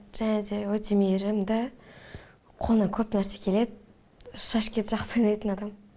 және де өте мейірімді қолынан көп нәрсе келеді шашкиді жақсы ойнайтын адам